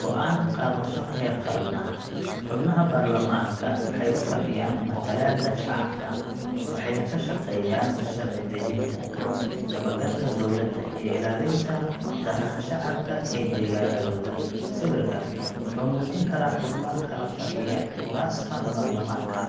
go’aan qaadasho heer qaran ah. Xubnaha baarlamaanka waxay u fadhiyaan matalaadda shacabka, waxayna ka shaqeeyaan sharci dejinta, dabagalka dowladda, iyo ilaalinta danaha shacabka ee deegaannadooda. Sawirkan wuxuu muujin karaa xubno kala fadhiya kuraasta baarlamaanka,